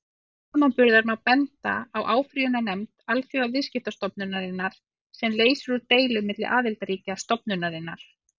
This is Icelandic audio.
Til samanburðar má benda á áfrýjunarnefnd Alþjóðaviðskiptastofnunarinnar, sem leysir úr deilum milli aðildarríkja stofnunarinnar.